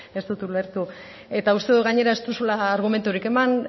ez dut ulertu eta uste dut gainera ez duzula argumenturik eman